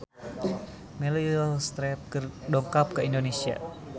Meryl Streep dongkap ka Indonesia